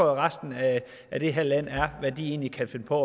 resten af det her land hvad de egentlig kan finde på